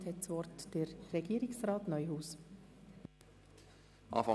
Somit erteile ich Regierungsrat Neuhaus das Wort.